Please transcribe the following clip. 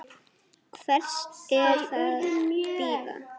Hvers er að bíða?